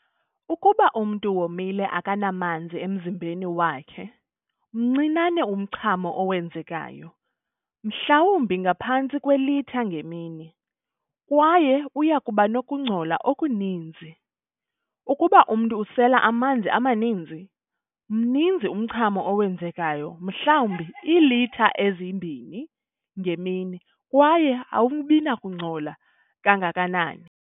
Ukuba umntu womile akanamanzi emzimbeni wakhe, mncinane umchamo owenzekayo, mhlawumbi ngaphantsi kwelitha ngemini, kwaye uyakubanokungcola okuninzi. Ukuba umntu usela amanzi amaninzi, mninzi umchamo owenzekayo, mhlawumbi iilitha ezi-2 ngemini, kwaye awubinakungcola kangakanani.